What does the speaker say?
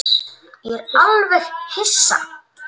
Ég var alveg hissa.